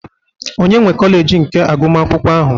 Onye nwe kọleji nke agụmakwụkwọ ahụ?